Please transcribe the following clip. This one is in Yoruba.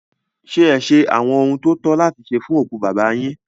Ṣé ẹ ṣe àwọn ohun tó tọ́ láti ṣe fún òkú bàbá yín?